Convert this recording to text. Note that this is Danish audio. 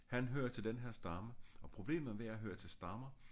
Han hører til den her stamme og problemet ved at høre til stammer